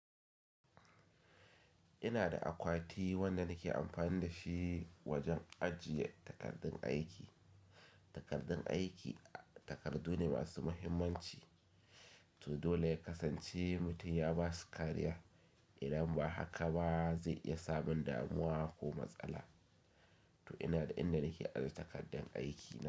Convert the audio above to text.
Ina da akwati wanda nake amfani da shi wajen ajiye takardun aiki. Takardun aiki, takardu ne masu muhimmanci, to dole ya kasance mutum ya ba su kariya, idan ba haka ba zai iya samun damuwa ko matsala. To ina da inda nake ajiye takardun aikina.